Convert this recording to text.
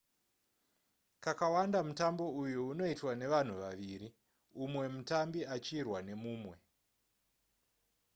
kakawanda mutambo uyu unoitwa nevanhu vaviri umwe mutambi achirwa nemumwe